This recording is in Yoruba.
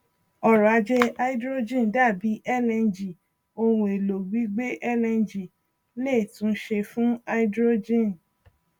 ọrọ ajé háídírójìn dàbi lng ohun èlò gbígbé lng léè tún ṣe fún háídírójìn